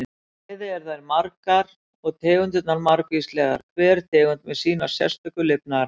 Bæði eru þær margar og tegundirnar margvíslegar, hver tegund með sína sérstöku lifnaðarhætti.